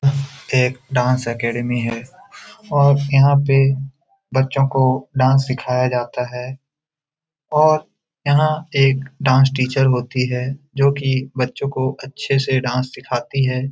यह एक dance academy है और यहां पे बच्चों को डांस सिखाया जाता है और यहां एक डांस टीचर होती है जो कि बच्चों को अच्छे से डांस सिखाती है।